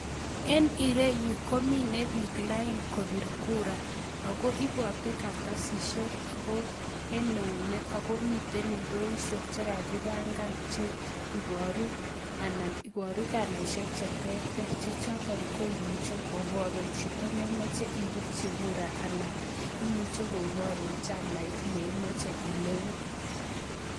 En ireyu komine piik line kopir kura ako ibote kartasisiek en eunek. Ako miten indoisiek chekakibang'an che iboru ana iboru kalaisiek cheterter, chechotok koimuche koborun chito nemoche ipirchi gura ana imuchi koporun chamait neimoche ilewen.